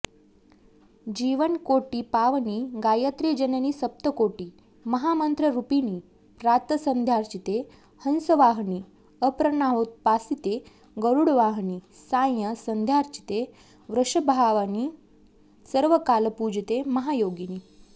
जीवकोटिपावनि गायत्रि जननि सप्तकोटि महामन्त्ररूपिणि प्रातःसन्ध्यार्चिते हंसवाहनि अपराह्नोपासिते गरुडवाहनि सायं सन्ध्यार्चिते वृषभवाहनि सर्वकालपूजिते महायोगिनि